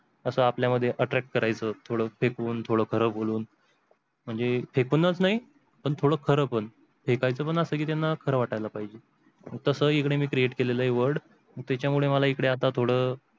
असं आपल्या मध्ये attract करायचं थोडं फेकून थोडं खरा बोलून म्हणजे फेकूनच नई तर थोडं खरा पण फेकायच पण आस की त्यांना खर वाटायला पाहिजे, तास ही इकडे create केलेले word त्या मुळे मला आता इकडे थोड